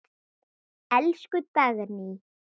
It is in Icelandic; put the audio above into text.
Elsku Dagný.